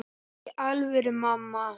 Í alvöru, mamma.